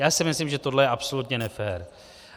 Já si myslím, že tohle je absolutně nefér.